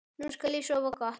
Nú skal ég sofa gott.